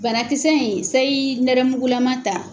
Banakisɛ in seyi nɛrɛmugulama ta